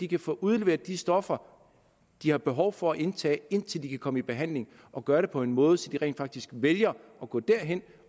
kan få udleveret de stoffer de har behov for at indtage indtil de kan komme i behandling og gøre det på en måde så de rent faktisk vælger at gå derhen